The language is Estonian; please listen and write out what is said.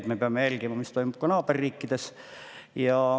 Ja me peame jälgima, mis toimub naaberriikides.